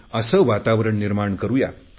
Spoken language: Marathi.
सर्वत्र असे वातावरण निर्माण करुया